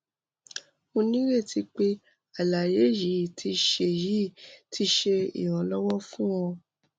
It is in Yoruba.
mo nireti pe alaye yii ti ṣe yii ti ṣe iranlọwọ fun ọ